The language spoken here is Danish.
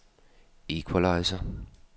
equalizer